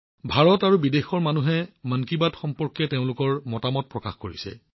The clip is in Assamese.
ভাৰত আৰু বিদেশৰ মানুহে মন কী বাত সন্দৰ্ভত তেওঁলোকৰ মতামত প্ৰকাশ কৰিছে